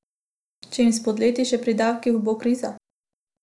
Če jim spodleti še pri davkih, bo kriza.